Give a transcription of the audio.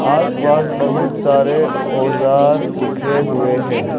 आसपास बहुत सारे औजार बिखरे हुए हैं।